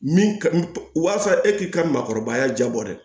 Min ka walasa e k'i ka maakɔrɔbaya jabɔ dɛ